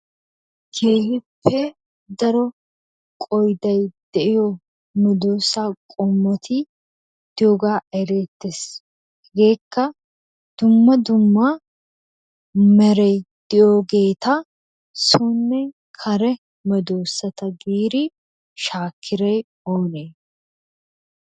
Keehippe daro qoyiday de'iyo medoosa qommoti diyogaa ereettes. Hegeekka dumma dumma meray de'iyogeeta sonne kare medoosata giidi shaakiray oonee?